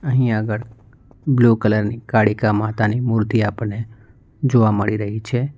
અહીં આગળ blue colour ની કાળીકા માતાની મૂર્તિ આપણને જોવા મળી રહી છે.